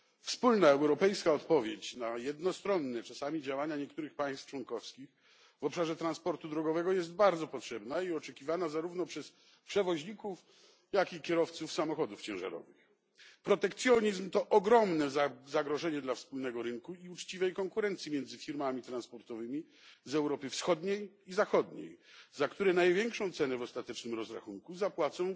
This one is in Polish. Wspólna europejska odpowiedź na jednostronne czasami działania niektórych państw członkowskich w obszarze transportu drogowego jest bardzo potrzebna i oczekiwana zarówno przez przewoźników, jak i kierowców samochodów ciężarowych. Protekcjonizm to ogromne zagrożenie dla wspólnego rynku i uczciwej konkurencji między firmami transportowymi z Europy Wschodniej i Zachodniej, za które największą cenę w ostatecznym rozrachunku zapłacą